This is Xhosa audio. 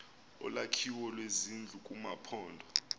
olwakhiwo lwezindlu kumaphondo